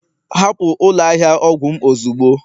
hapụ ụlọ ahịa ọgwụ m ozugbo